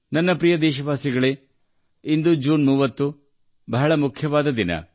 ನನ್ನ ಪ್ರೀತಿಯ ದೇಶವಾಸಿಗಳೆ ಇಂದು ಜೂನ್ 30 ಬಹಳ ಮುಖ್ಯವಾದ ದಿನ